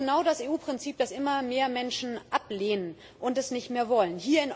Das ist genau das EU Prinzip, das immer mehr Menschen ablehnen und nicht mehr wollen.